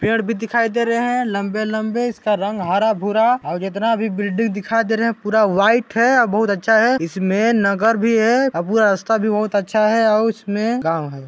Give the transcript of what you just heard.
पेड़ भी दिखाई दे रहे हैं लंबे-लंबे इसका रंग हरा-भूरा और जितना भी बिल्डिंग दिखाई दे रहे हैं पूरा व्हाइट हैं और बहुत अच्छा हैं इसमें नगर भी हैं और पूरा रास्ता भी बहुत अच्छा हैं और इसमें गाँव हैं।